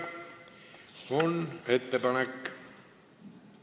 Siiski on ettepanek.